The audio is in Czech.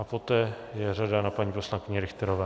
A poté je řada na paní poslankyni Richterové.